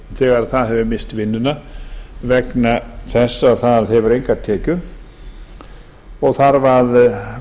þegar það hefur misst vinnuna vegna þess að það hefur engar tekjur og þarf að